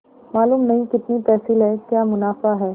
मालूम नहीं कितनी तहसील है क्या मुनाफा है